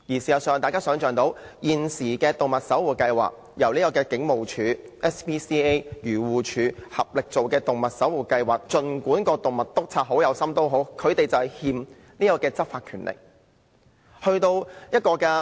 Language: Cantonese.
事實上，大家可以想象，在現時由警務處、愛護動物協會和漁護署合作推出的動物守護計劃下，儘管動物督察很有心，他們仍未獲賦執法權力。